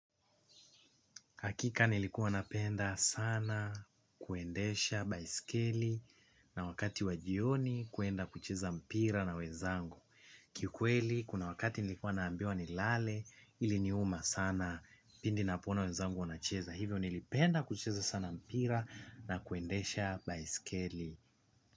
Hakika nilikuwa napenda sana kuendesha baiskeli na wakati wajioni kuenda kucheza mpira na wezangu. Ki ukweli, kuna wakati nilikuwa naambiwa nilale ili niuma sana pindi napoona wezangu wanacheza. Hivyo nilipenda kuchiza sana mpira na kuendesha baiskeli.